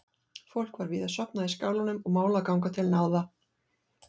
Fólk var víða sofnað í skálanum og mál að ganga til náða.